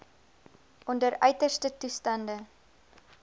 onder uiterste toestande